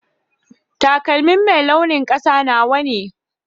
Taƙalmi mai launin ƙasa nawa ne.